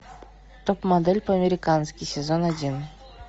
топ модель по американски сезон один